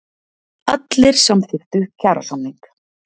Allir samþykktu kjarasamning